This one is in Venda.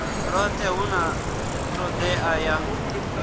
lwothe hu na todea ya